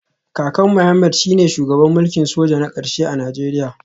Kakan Mohammed shine shugaban mulkin soja na karshe a Najeriya